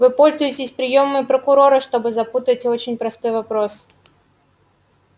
вы пользуетесь приёмами прокурора чтобы запутать очень простой вопрос